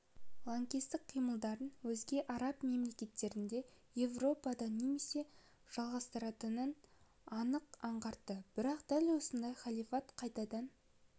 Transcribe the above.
лаңкестік қимылдарын өзге араб мемлекеттерінде еуропада немесе жалғастыратынын анық аңғартты бірақ дәл осындай халифат қайтадан